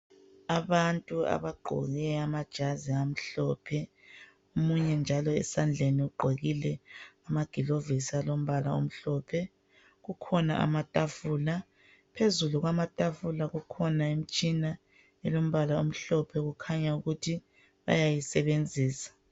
Abantu abagqoke amajazi amhlophe, omunye njalo ezandleni ugqokile amagilovisi alombala omhlophe. Kukhona amatafula. Phezulu kwamatafula kukhona imtshina elombala omhlophe okukhanya ukuthi bayayisebenzisa.